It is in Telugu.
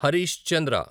హరీష్ చంద్ర